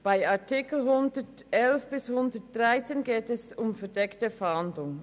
In den Artikeln 111 bis 113 geht es um die verdeckte Fahndung.